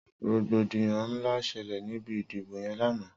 Rógbódiyàn nlá ṣẹlẹ nibi idibó yèn làná